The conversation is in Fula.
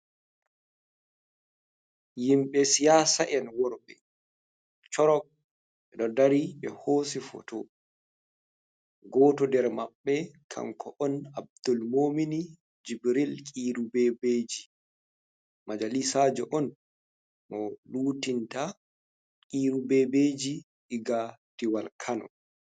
Himɓe siyasa en worbe chorok ɗo dari ɓe hosi foto. Goto nder maɓɓe kanko on Abdulmumini Jibril Kiru Bebeji majalisajo on mo lutinta Kiru Bebeji ɗiga diwal kano.